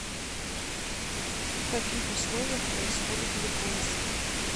в каких условиях происходит гликолиз